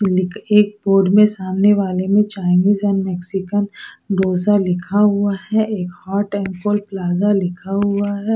लिक एक पोर में सामने वाले में चाईंनिस एंड मेक्सिकन डोसा लिखा हुआ है एक हॉट एंड पोर प्लाजो लिखा हुआ है ।